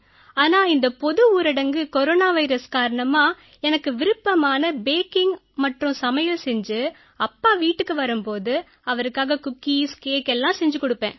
ஆனா இந்த பொது ஊரடங்கு கொரோனா வைரஸ் காரணமா எனக்கு விருப்பமான பேக்கிங் மற்றும் சமையல் செஞ்சு அப்பா வீட்டுக்கு வரும் போது அவருக்காக குக்கீஸ் கேக் எல்லாம் செஞ்சு குடுப்பேன்